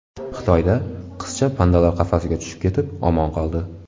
Xitoyda qizcha pandalar qafasiga tushib ketib omon qoldi .